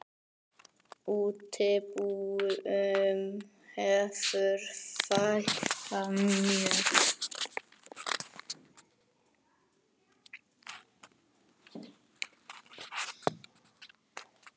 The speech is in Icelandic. Útibúum hefur fækkað mjög.